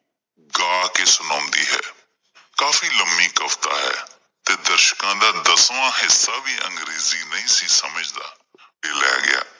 ਗਾ ਕੇ ਸੁਣਾਉਂਦੀ ਹੈ। ਕਾਫੀ ਲੰਮੀ ਕਵਿਤਾ ਹੈ ਤੇ ਦਰਸ਼ਕਾਂ ਦਾ ਦਸਵਾਂ ਹਿੱਸਾ ਵੀ ਅੰਗਰੇਜੀ ਨਹੀ ਸੀ ਸਮਝਦਾ ਤੇ ਲੇ ਗਿਆ